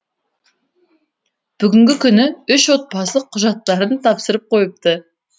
бүгінгі күні үш отбасы құжаттарын тапсырып қойыпты